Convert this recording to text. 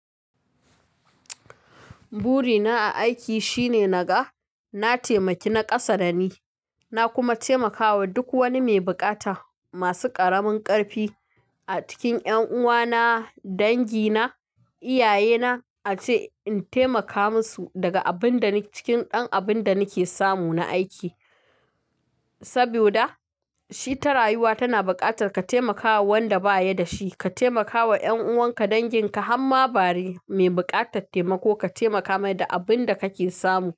Burina a aiki shine naga na taimaki na ƙasa da ni, na kuma taimakawa duk wani mai bukata masu ƙaramin ƙarfi a cikin ƴan uwana, dangi na, iyaye na ace in taimaka musu daga abinda ni-- cikin dan abin da nake samu na aiki. Saboda shi ta rayuwa tana buƙatar ka taimakawa wanda ba ya da shi. Ka taimakawa ƴan'uwan ka dangin ka han ma bare mai buƙatar taimako ka taimaka mai da abin da kake samu.